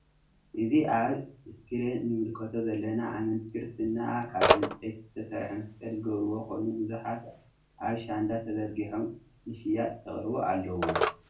እዚ ኣብ እስክሪን እንምልከቶ ዘለና ኣመንቲ ክርስትና ካብ ዕንጸይቲ ዝተሰርሐ መስቀል ዝገብርዎ ኮይኑ ቡዙሓት ኣብ ቸንዳ ተዘሪጊሖም ንሽያጥ ይቀርቡ ኣለዉ።